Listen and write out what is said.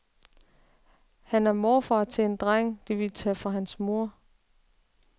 Han er morfar til en dreng, de ville tage fra hans mor.